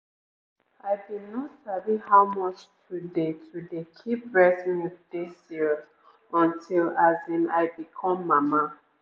i bin no sabi how much to dey to dey keep breast milk dey serious until as in i become mama